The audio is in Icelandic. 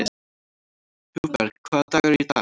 Hugberg, hvaða dagur er í dag?